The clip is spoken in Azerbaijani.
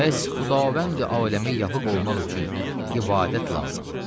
Bəs Xudavəndi aləmə layiq olmaq üçün ibadət lazım.